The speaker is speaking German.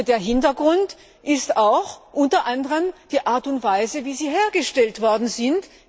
Der Hintergrund ist unter anderem auch die Art und Weise, wie sie hergestellt worden sind.